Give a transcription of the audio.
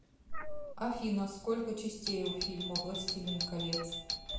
афина сколько частей у фильма властелин колец